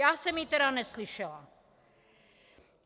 Já jsem ji tedy neslyšela.